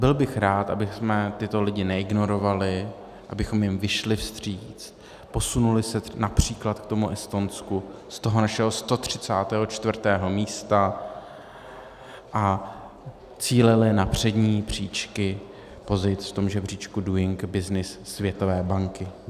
Byl bych rád, abychom tyto lidi neignorovali, abychom jim vyšli vstříc, posunuli se například k tomu Estonsku z toho našeho 134. místa a cílili na přední příčky pozic v tom žebříčku Doing Business Světové banky.